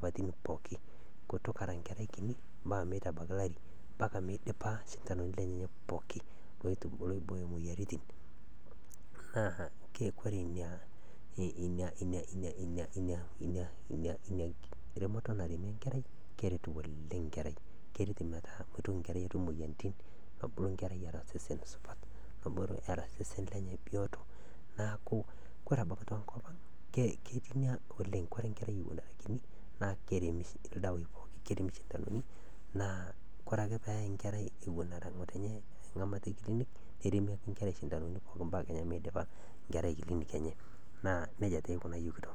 pootum atoshora nkerai enye ,atoshora nkaik, atoshora nkejek, neshor nkoriong ,neshor ndapi oonkejek, weji pooki, neel akinyi, kore peel newen achor, achor, achor sesen pooki, naa kesupat naa nkerai osesen, meitoki atum nenai moyaritin, meitoki atum lelo kutiti iltikana, meitoki atum lelo kutiti ooshori, naa inakata naa esupatu nkerai osesen, naaku kesupat oleng teneshor ngotenye nkerai awen ale ashorchor ewen era kinyi, naaku kore abaki echor ngotenye naa kejingaro ninye o kerai enye .